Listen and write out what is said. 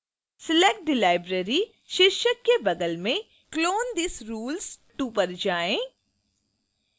select the library शीर्षक के बगल में clone these rules to पर जाएँ